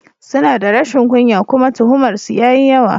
Suna da rashin kunya kuma tuhumar su yayi yawa.